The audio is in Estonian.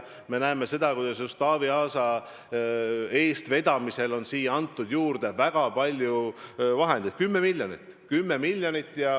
Me näeme seda, kuidas just Taavi Aasa eestvedamisel on siia antud juurde väga palju vahendeid, 10 miljonit.